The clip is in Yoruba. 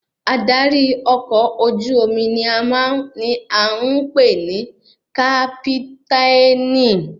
Adarí ọkọ̀ ojú omi ni a ń pè ní kápítànì